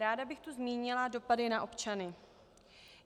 Ráda bych tu zmínila dopady na občany.